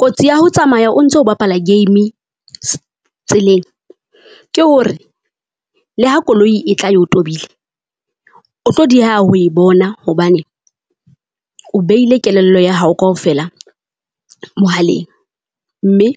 Kotsi ya ho tsamaya o ntso bapala game-e tseleng, ke hore le ha koloi e tla eo tobile o tlo dieha ho e bona hobane. o behile kelello ya hao kaofela mohaleng, mme